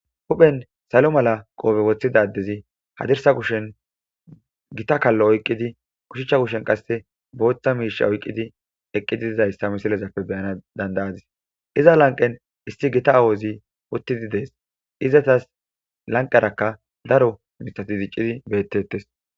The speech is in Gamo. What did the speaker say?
Huphen salo mala qoobe woththidadezi hadirsa kushen gita kallo oyqqidi kushichcha kushen qasse booththa miisha oyqqidi eqqidi dizayssa misilezappe beyana dandayadis iza lanqen isti gita awozi uttidi dees izatas lanqerakka daro misatiziccidi bettettes.